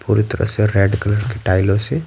पूरी तरह से रेड कलर के टाइलों से--